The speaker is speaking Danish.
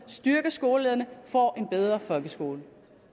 styrke skolelederne får en bedre folkeskole